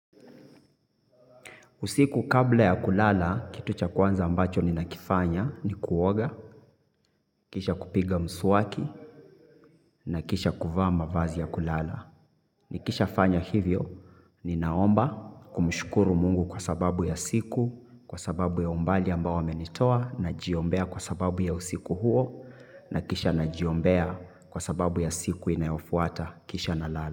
Usiku kabla ya kulala, kitu cha kwanza ambacho ninakifanya ni kuoga, kisha kupiga mswaki, na kisha kuvaa mavazi ya kulala. Nikisha fanya hivyo, nina omba kumshukuru mungu kwa sababu ya siku, kwa sababu ya umbali ambao amenitoa, najiombea kwa sababu ya usiku huo, na kisha najiombea kwa sababu ya siku inayofuata, kisha nalala.